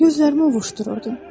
Gözlərimi ovuşdururdum.